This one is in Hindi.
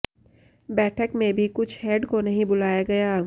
बैठक में भी कुछ हेड को नहीं बुलाया गया